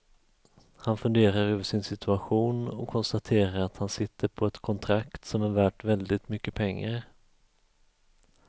Han funderar över sin situation och konstaterar att han sitter på ett kontrakt som är värt väldigt mycket pengar.